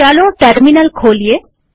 ચાલો ટર્મિનલ ખોલીએ